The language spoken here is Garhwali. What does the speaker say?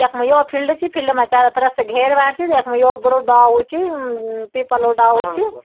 यखमा यौ फिल्ड च फिल्ड मा चारो तरफ से घेर बाड च यख्मा यो बडू डाल च पीपलाे डालू च।